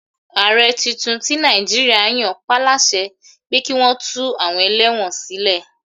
Ààrẹ tuntun tí Nàìjíríà yan pá láṣẹ pé kí wọn tú àwọn ẹlẹ́wọ̀n sílẹ̀.